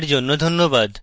অংশগ্রহনের জন্যে ধন্যবাদ